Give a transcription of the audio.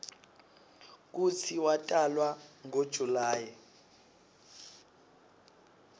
kutsi watalwa ngo july